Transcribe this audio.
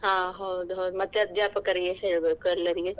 ಹಾ ಹೌದು ಹೌದು ಮತ್ತೆ ಅಧ್ಯಾಪಕರಿಗೆ ಸಾ ಹೇಳ್ಬೇಕು ಎಲ್ಲರಿಗೆ.